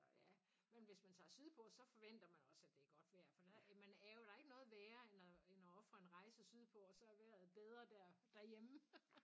Ja men hvis man tager sydpå så forventer man også at det er godt vejr for der man er jo der er ikke noget værre end at end at ofre en rejse sydpå og så er vejret bedre derhjemme